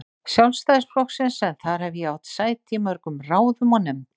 Sjálfstæðisflokksins en þar hef ég átt sæti í mörgum ráðum og nefndum.